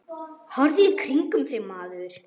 Horfðu í kringum þig, maður.